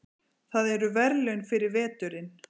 Það eru verðlaunin fyrir veturinn.